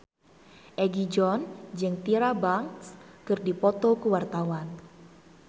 Egi John jeung Tyra Banks keur dipoto ku wartawan